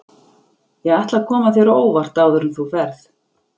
Ég ætla að koma þér á óvart áður en þú ferð.